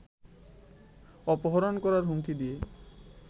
অপহরণ করার হুমকি দিয়ে